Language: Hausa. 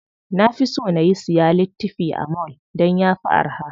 Na fi so na siya littifi a mall dan yafi araha.